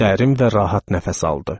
Dərin və rahat nəfəs aldı.